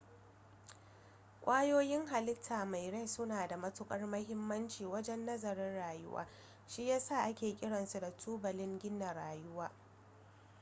kwayoyin halitta mai rai suna da matukar mahimmanci wajen nazarin rayuwa shi ya sa ake kiransu da tubalin gina rayuwa